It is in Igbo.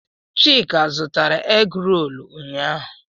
Chika zụtara egroolu ụnyaahụ.